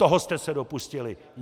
Toho jste se dopustili!